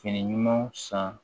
Fini ɲumanw san